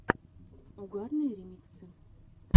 угарные ремиксы